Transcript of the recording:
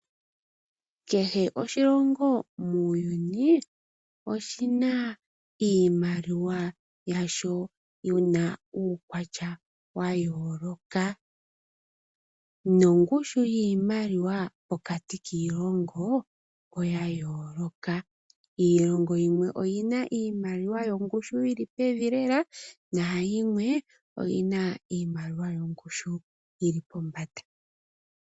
Kehe oshilongo muuyuni oshina iimaliwa yasho yina uukwatya wa yooloka nongushu yiimaliwa pokati kiilongo oya yooloka. Iilongo yimwe oyina iimaliwa yongushu yili pevi lela nayimwe oyina iimaliwa yongushu yili pombanda.